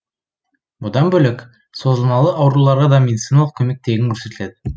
бұдан бөлек созылмалы ауруларға да медициналық көмек тегін көрсетіледі